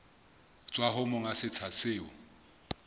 tswa ho monga setsha seo